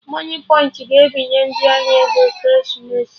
Moniepoint ga ebinye ndị ahịa ego Ekeresimesi